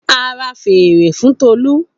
A ra fèrè fun Tolu.